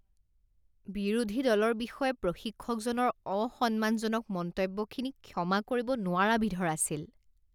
বিৰোধী দলৰ বিষয়ে প্ৰশিক্ষকজনৰ অসন্মানজনক মন্তব্যখিনি ক্ষমা কৰিব নোৱাৰা বিধৰ আছিল